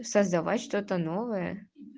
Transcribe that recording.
создавать что-то новое